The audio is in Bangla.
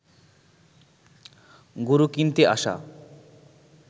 গরু কিনতে আসা